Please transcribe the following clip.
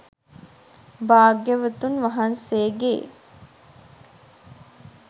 භාග්‍යවතුන් වහන්සේගේ